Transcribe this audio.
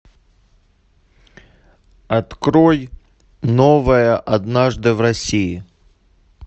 открой новое однажды в россии